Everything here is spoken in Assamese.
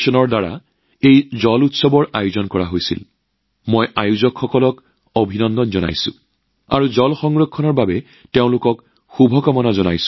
ইয়াৰ লগত জড়িত সকলোকে অভিনন্দন জনাইছো আৰু পানী সংৰক্ষণৰ বাবেও একেধৰণৰ কাম কৰাৰ বাবে শুভকামনা জনাইছো